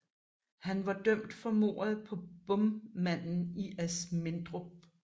Han var dømt for mordet på bommanden i Asmindrup